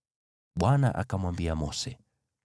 Bwana akamwambia Mose,